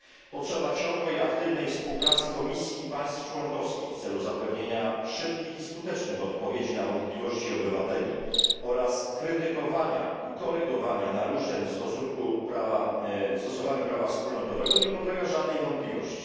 Potrzeba ciągłej, aktywnej współpracy Komisji i państw członkowskich w celu zapewnienia szybkich i skutecznych odpowiedzi na wątpliwości obywateli oraz krytykowania i korygowania naruszeń w stosowaniu prawa wspólnotowego nie podlega żadnej wątpliwości.